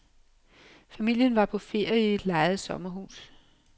Familien var på ferie i et lejet sommerhus.